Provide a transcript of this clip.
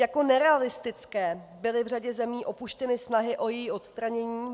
Jako nerealistické byly v řadě zemí opuštěny snahy o její odstranění.